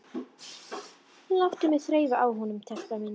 Láttu mig þreifa á honum, telpa mín.